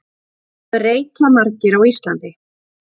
Hvað reykja margir á Íslandi?